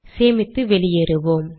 சேமித்து வெளியேறுவோம்